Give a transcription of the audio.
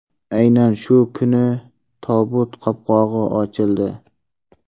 Aynan shu kuni tobut qopqog‘i ochildi.